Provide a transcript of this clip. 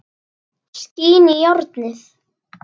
Skín í járnið.